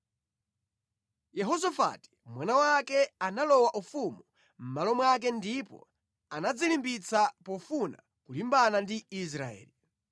Yehosafati mwana wake analowa ufumu mʼmalo mwake ndipo anadzilimbitsa pofuna kulimbana ndi Israeli.